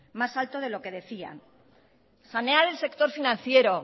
más alto de lo que decían sanear el sector financiero